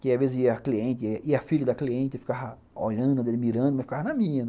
Que às vezes ia cliente ia a filha da cliente ficava olhando, admirando, mas ficava na minha.